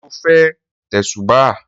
Sọ fẹ́ tẹ̀sùbáà?